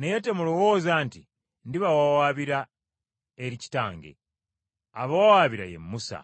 “Naye temulowooza nti ndibawawaabira eri Kitange. Abawawaabira ye Musa,